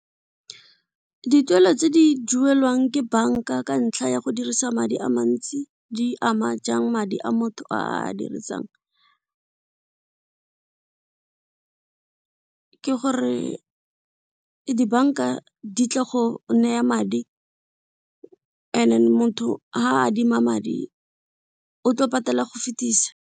Dituelo tse di duelwang ke banka ka ntlha ya go dirisa madi a mantsi di ama jang madi a motho a a dirisang ke gore dibanka di tla go neya madi motho ga adima madi o tlo patela go fetisa.